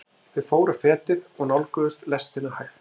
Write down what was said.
Þau fóru fetið og nálguðust lestina hægt.